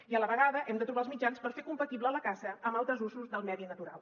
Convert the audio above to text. i a la vegada hem de trobar els mitjans per fer compatible la caça amb altres usos del medi natural